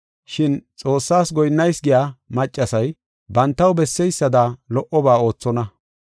Shin Xoossaas goyinnayis giya maccasay bantaw besseysada lo77oba oothonna.